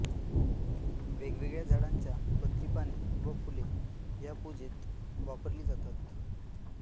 वेगवेगळ्या झाडांच्या पत्री पाने व फुले या पूजेत वापरली जातात